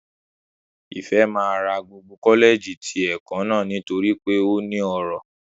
Ìfẹ́ máa ra gbogbo kọ́lẹ̀ẹ̀jì ti ẹ̀kọ́ náà nítorí pé ó ní ọrọ̀